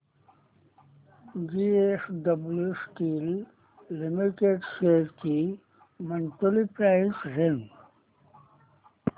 JSW steel limited shares ची monthly price range